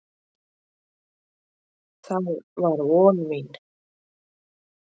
Það var von mín.